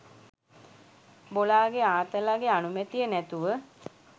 බොලාගෙ ආතලගෙ අනුමැතිය නැතුව